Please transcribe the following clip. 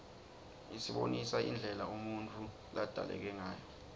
isibonisa indlela umuntfu ladalekangayo